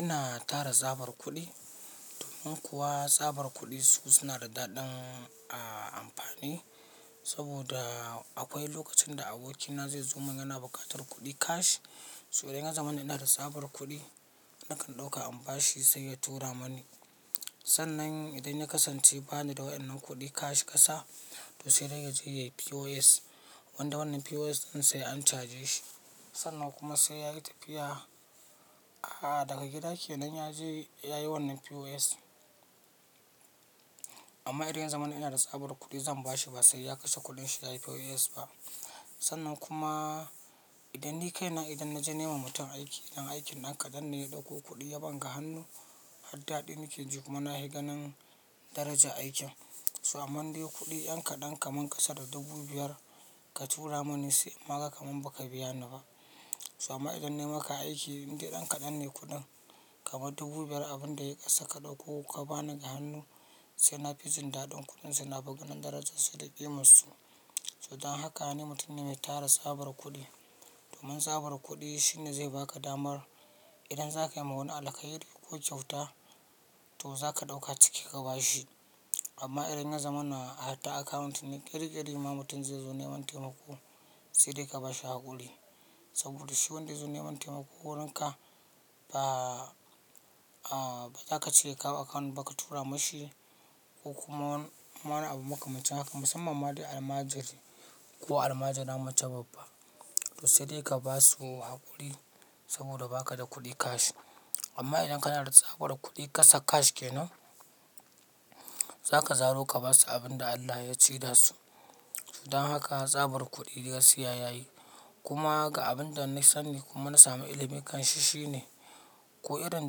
Ina tara tsabar kuɗi domin kuwa tsabar kuɗi su suna da daɗin a amfani. Saboda akwai lokacin da abokina zai zo mun yana bukatar kuɗi cash. Sai idan ya zamana da tsabar kuɗi, nakan ɗauka in bashi sai ya tura mani. Sannan idan ya kasance bani da wa'yannan kuɗi cash ƙasa, to sai dai ya je yayi POS. Wanda wannan POS ɗin sai an caje shi. Sannan kuma sai yayi tafiya, ah daga gida kenan ya je yayi wannan POS. Amma idan ya zama ina da tsabar kuɗi zan bashi ba sai ya kashe kuɗinsa yayi POS ba. Sannan kuma idan ni kaina idan na je nema mutum aiki, idan aikin ɗan kaɗan ne ya ɗauko kuɗi ya ban ga hannu, har daɗi nake ji kuma na hi ganin daraja aikin. Su amma in dai kuɗi ɗan kaɗan kamar ƙasa da dubu biyar ka tura mani sai in ma kamar baka biya ni ba. Su amma idan na yi maka aiki, in dai ɗan kaɗan ne kuɗin kamar dubu biyar abin da ya ƙasa ka ɗauko ka bani ga hannu sai na fi jin daɗin kuɗin sai na fi ganin darajarsa da ƙimar su. So dan haka ne mutum ne mai tara tsabar kuɗi. Domin tsabar kuɗi shine zai baka damar idan za ka yi wa wani alkhairi ko kyauta to za ka ɗauka ciki ka ba shi. Amma idan ya zamana a ta akawunt ne ƙiri ƙiri ma mutum zai zo neman taimako sai dai ka ba shi haƙuri. Saboda shi wanda ya zo neman taimako wurin ka ba, ah ba za ka cire kawo akawunt ba ka tura mashi ko kuma wani abu maka makamancin haka musamman ma dai almajiri ko almajira mace babba. To sai dai ka ba su haƙuri saboda ba ka da kuɗi cash. Amma idan kana da tsabar kuɗi ƙasa cash kenan, za ka zaro ka basu abin da Allah ya ci da su. So don haka tsabar kuɗi gaskiya yayi. Kuma haka abin da na sani kuma na sami ilimi kanshi shine ko irin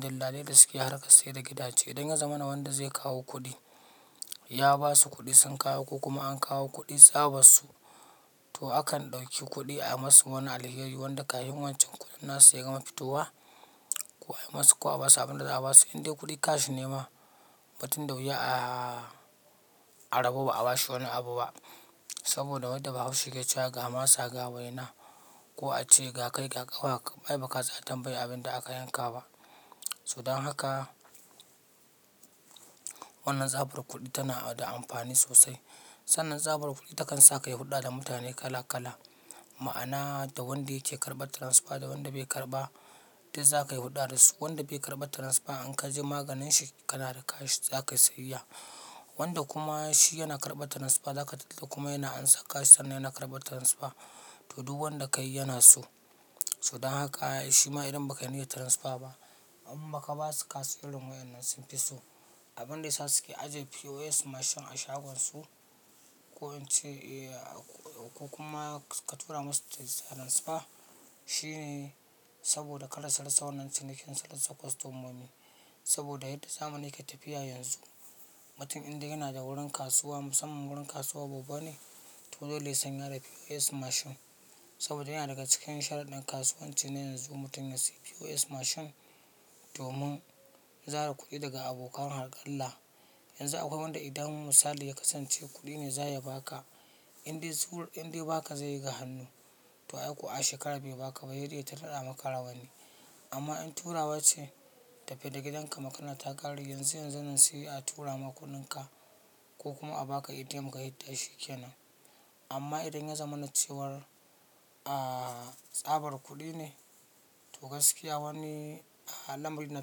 dillalai da suke harkar sai da gidaje. Idan ya zamana wanda zai kawo kuɗi ya basu kuɗi sun kawo ko kuma an kawo kuɗi tsabar su, to akan ɗauki kuɗi a yi masu wani alheri wanda ƙahin wancan kuɗin nasu ya gama fitowa. Ko a yi masu ko a basu abin da za a basu. In dai kuɗi cash ne ma ba tun da wuya a, a rabu ba a bashi wani abu ba. Saboda wanda bahaushe yake cewa ga masa ga waina ko a ce ga kai ga kau. Ai ba tsaya tambayar abin da aka yanka ba. So dan haka wannan tsabar kuɗi tana da amfani sosai. Sannan tsabar kuɗi takan sa ka yi hulɗa da mutane kala kala. Ma'ana da wanda yake karɓar transfer da wanda bai karɓa dai za ka yi hulɗa da su. Wanda bai karɓa transfer in ka je maganinshi kana da cash za kai siyayya. Wanda kuma shi yana karɓar transfer za ka tatta kuma yana ansa cash dan yana karɓar transfer. To duk wanda ka yi yana so. So don haka shima idan baka iya transfer ba amma ka basu cash wurin wayannan sun fi so. Abin da ya sa suke ajiye POS mashin a shagonsu ko in ce eh ko kuma ka tura masu ta transfer shine saboda kar su rasa wannan cinikin su rasa kostomomi. Saboda yadda zamani yake tafiya yanzu, mutum idan yana da wurin kasuwa musamman wurin kasuwa babban ne to dole sanya da POS mashin. Saboda yana daga cikin sharaɗin kasuwanci ne yanzu mutum ya sayi POS mashin domin zara kuɗi daga abokan harƙalla. Yanzu akwai wanda idan misali ya kasance kuɗi ne za ya baka in dai zuwa in dai baka zai yi ga hannu. To ai kuwa a shekara biyu baka bai da ita daɗa maka rawani. Amma in turawa ce, tafi da gidanka magana ta kare yanzu yanzu nan sai a tura maka kuɗinka ko kuma a baka ATM ka hidda shikenan. Amma idan ya zama na cewar ah tsabar kuɗi ne to gaskiya wani al'amari na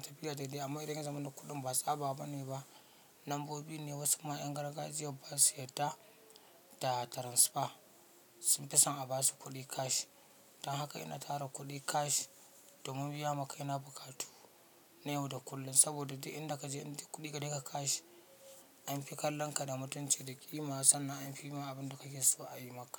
tafiya dai dai. Amma idan ya zama na kuɗin ba tsaba bane ba lambobi ne wasu ma yan gargajiyar ba su yadda da transfer sun fi son a basu kuɗi cash. Dan haka ina tara kuɗi cash domin biya ma kaina buƙatu na yau da kullum. Saboda duk inda ka je in dai kuɗi gare ka cash an fi kallon ka da mutunci da ƙima sannan an fi ma abin da kake so a yi maka.